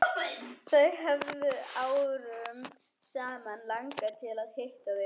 Þau hefur árum saman langað til að hitta þig.